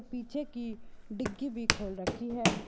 पीछे की डिग्गी भी खोल रखी है।